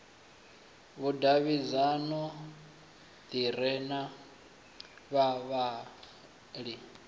vhudavhidzano ḓi re na vhavhali